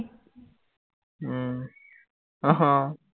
উম আহ